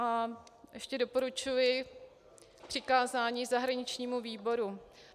A ještě doporučuji přikázání zahraničnímu výboru.